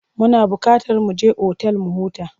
Muna buƙatar mu je otal mu huta.